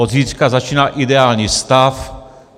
Od zítřka začíná ideální stav.